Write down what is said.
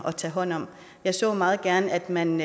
at tage hånd om og jeg så meget gerne at man